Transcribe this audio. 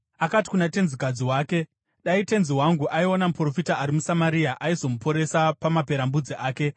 Akati kuna tenzikadzi wake, “Dai tenzi wangu aiona muprofita ari muSamaria! Aizomuporesa pamaperembudzi ake.”